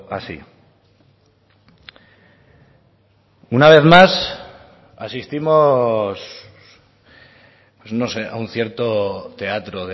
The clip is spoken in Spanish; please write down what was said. así una vez más asistimos pues no sé a un cierto teatro